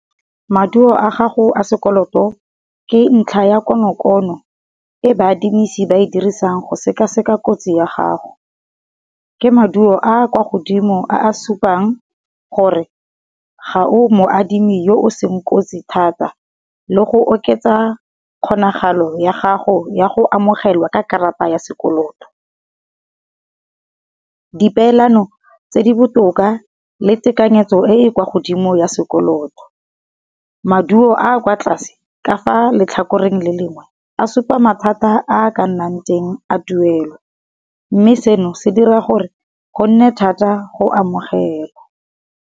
Maduo a gago a sekoloto, ke ntlha ya konokono e ba adimisani ba e dirisang go sekaseka kotsi ya gago. Ke maduo a kwa godimo a supang gore ga o mo adimi yo o seng kotsi thata, le go oketsa kgonagalo ya gago ya go amogelwa ka karata ya sekoloto. Di peelano tse di botoka le tekanyetso e e kwa godimo ya sekoloto, maduo a kwa tlase ka fa letlhakoreng le lengwe a supa mathata a ka nnang teng a tuelo, mme seno se dira gore go nne thata go amogela.